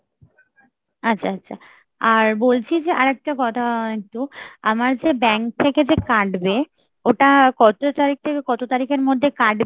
আচ্ছা, আচ্ছা, আর বলছি যে আর একটা কথা আছে একটু আমার যে bank থেকে যে কাটবে ওটা কত তারিখ থেকে কত তারিখের মধ্যে কাটবে ?